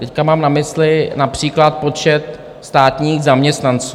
Teď mám na mysli například počet státních zaměstnanců.